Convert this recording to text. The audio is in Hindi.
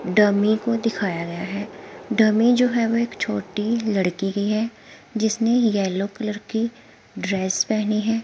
डमी को दिखाया गया है डमी जो है वो एक छोटी लड़की की है जिसने येलो कलर की ड्रेस पहनी है।